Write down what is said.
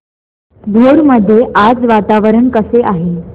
भोर मध्ये आज वातावरण कसे आहे